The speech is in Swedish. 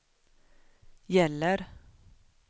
gäller